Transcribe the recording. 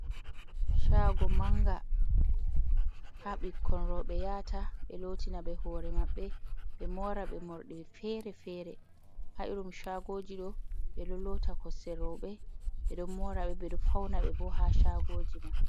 Shago manga, ha ɓikkon roɓe yahata ɓe lotina ɓe hore mabbe, ɓe mora ɓe morɗi fere-fere. Ha irin shagoji ɗo, ɓe ɗo lota kosɗe robe, ɓe ɗon mora ɓe, ɓe ɗo fauna ɓe bo, ha shagoji man.